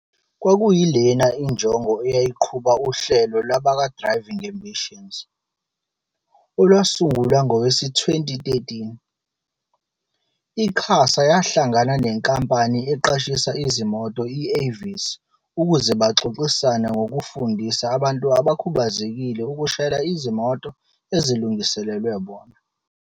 Kwakuyilena injongo eyayiqhuba uhlelo lwabakwa-Driv ing Ambitions, olwasungulwa ngowezi-2013. I-QASA yahla ngana nenkampani eqashisa izimoto i-Avis ukuze baxox isane ngokufundisa abantu abakhubazekile ukushayela izimoto ezilungiselelwe bona.